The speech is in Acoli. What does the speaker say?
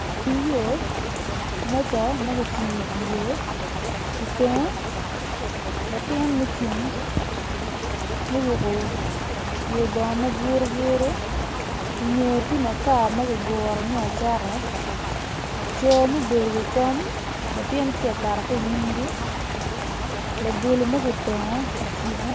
Cel yo meja ma kicibo i dye yo i tenge latin mucung muruko pye bongo maburuburu i ngeye tye makar ma kiguro me acata co ma gubedo i wi kom latin tye ka kato ki i nyimgi labolo ma kitongo kicibo.